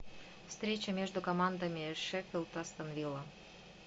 встреча между командами шеффилд астон вилла